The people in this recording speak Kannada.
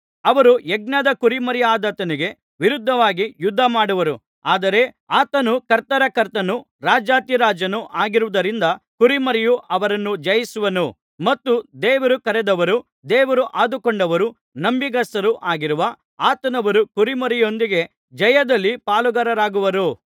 ಅವರು ಯಜ್ಞದ ಕುರಿಮರಿಯಾದಾತನಿಗೆ ವಿರುದ್ಧವಾಗಿ ಯುದ್ಧ ಮಾಡುವರು ಆದರೆ ಆತನು ಕರ್ತರ ಕರ್ತನೂ ರಾಜಾಧಿರಾಜನೂ ಆಗಿರುವುದರಿಂದ ಕುರಿಮರಿಯು ಅವರನ್ನು ಜಯಿಸುವನು ಮತ್ತು ದೇವರು ಕರೆದವರೂ ದೇವರು ಆದುಕೊಂಡವರೂ ನಂಬಿಗಸ್ತರೂ ಆಗಿರುವ ಆತನವರು ಕುರಿಮರಿಯೊಂದಿಗೆ ಜಯದಲ್ಲಿ ಪಾಲುಗಾರರಾಗುವರು